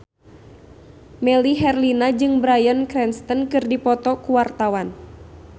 Melly Herlina jeung Bryan Cranston keur dipoto ku wartawan